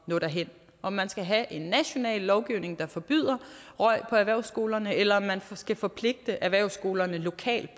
at nå derhen om man skal have en national lovgivning der forbyder røg på erhvervsskolerne eller om man skal forpligte erhvervsskolerne lokalt